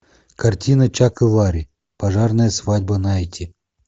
картина чак и ларри пожарная свадьба найти